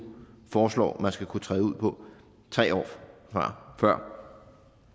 foreslår man skal kunne træde ud på tre år før